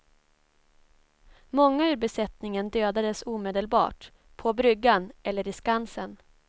Många ur besättningen dödades omedelbart, på bryggan eller i skansen.